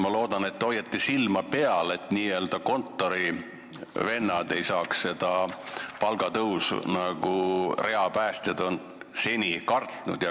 Ma loodan, et te hoiate silma peal, et n-ö kontorivennad ei saaks seda lubatud palgatõusu, nagu reapäästjad on seni kartnud.